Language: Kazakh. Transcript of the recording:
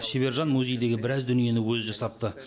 шебер жан музейдегі біраз дүниені өзі жасапты